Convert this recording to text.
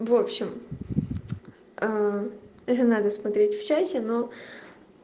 в общем это надо смотреть в чате ну